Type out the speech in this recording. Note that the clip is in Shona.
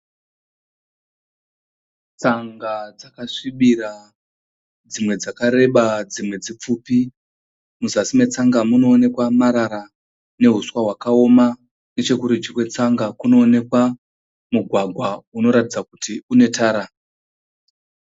Tsanga dzakasvibira. Dzimwe dzakareba dzimwe dzipfupi. Muzasi metsanga munoonekwa marara neuswa hwakaoma. Nechekurudyi kwetsanga kunoonekwa mugwagwa unoratidza kuti unetara.